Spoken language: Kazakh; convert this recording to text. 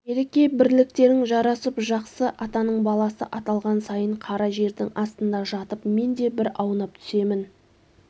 береке-бірліктерің жарасып жақсы атаның баласы аталған сайын қара жердің астында жатып мен де бір аунап түсемін